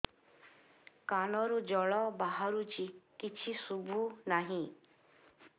କାନରୁ ଜଳ ବାହାରୁଛି କିଛି ଶୁଭୁ ନାହିଁ